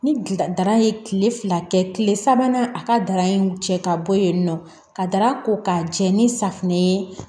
Ni dara ye kile fila kɛ kile sabanan a ka dara in cɛ ka bɔ yen nɔ ka dara ko ka jɛ ni safunɛ ye